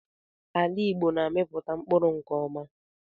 Ala Igbo na-amipụta mkpụrụ nke ọma